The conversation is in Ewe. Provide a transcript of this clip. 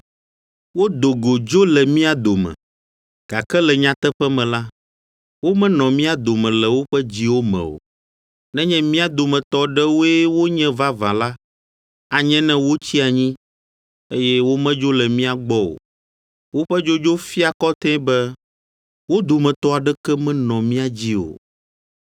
Wodo go dzo le mía dome, gake le nyateƒe me la, womenɔ mía dome le woƒe dziwo me o. Nenye mía dometɔ aɖewoe wonye vavã la, anye ne wotsi anyi, eye womedzo le mía gbɔ o. Woƒe dzodzo fia kɔtɛe be wo dometɔ aɖeke menɔ mía dzi o.